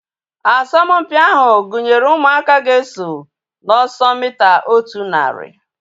Asọmpi ahu gụnyere ụmụaka ga-esonye na ọsọ mita otu narị